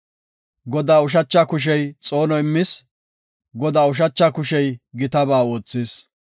Godaa ushacha kushey xoono immis; Godaa ushacha kushey gitaba oothis.